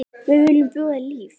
Við viljum bjóða þér líf.